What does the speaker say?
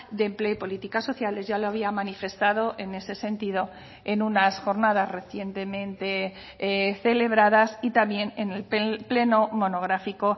de empleo y políticas sociales ya lo había manifestado en ese sentido en unas jornadas recientemente celebradas y también en el pleno monográfico